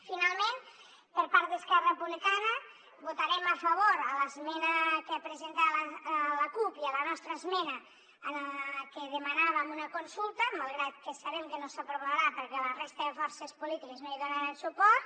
finalment per part d’esquerra republicana votarem a favor l’esmena que ha presentat la cup i la nostra esmena en la que demanàvem una consulta malgrat que sabem que no s’aprovarà perquè la resta de forces polítiques no hi donaran suport